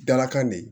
Dalakan ne